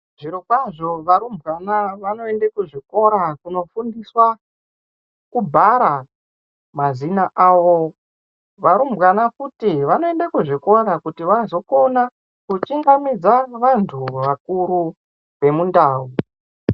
Zvirokwazvo varumbwana vanoende kuzvikora kunofundiswa, kubhara mazina avo. Varumbwana futi vanoenda kuzvikora kuti vazokona kuchingamidza vantu vakuru vemundau.